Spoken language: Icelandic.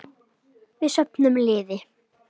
Við söfnum liði.